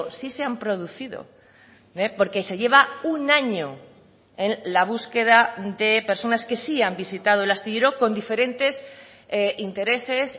sí se han producido porque se lleva un año en la búsqueda de personas que sí han visitado el astillero con diferentes intereses